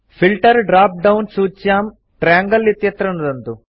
filter drop down सूच्यां triangle इत्यत्र नुदन्तु